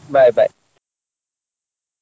Bye bye.